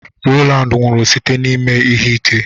Rowland nwụrụ site n'ime ihe ike.